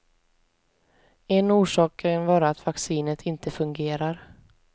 En orsak kan vara att vaccinet inte fungerar.